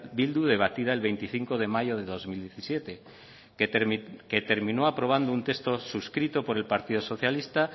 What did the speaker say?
bildu debatida el veinticinco de mayo de dos mil diecisiete que terminó aprobando un texto suscrito por el partido socialista